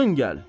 yaqın gəl!